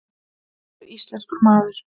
Hann var íslenskur maður.